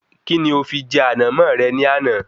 Kí ni o fi jẹ Ànàmó rẹ ní àná?